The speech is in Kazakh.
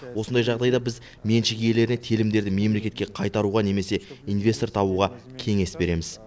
осындай жағдайда біз меншік иелеріне телімдерді мемлекетке қайтаруға немесе инвестор табуға кеңес береміз